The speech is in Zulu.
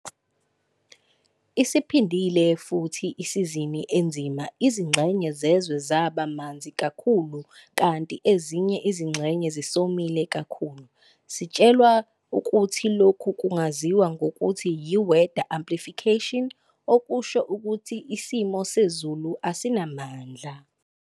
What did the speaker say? Isiphindile futhi isizini enzima - izingxenye zezwe zaba manzi kakhulu kanti ezinye izingxenye zisomile kakhulu. Sitshelwa ukuthi lokhu kungaziwa ngokuthi yi'weather amplification', okusho ukuthi isimo sezulu esinamandla.